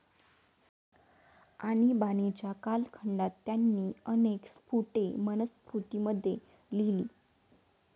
आणिबाणीच्या कालखंडात त्यांनी अनेक स्फुटे मनुस्मृतीमध्ये लिहिली.